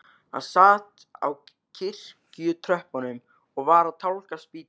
Hann sat á kirkjutröppunum og var að tálga spýtu.